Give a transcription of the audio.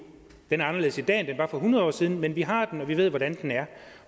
den er anderledes i dag end den var for hundrede år siden men vi har den og vi ved hvordan den er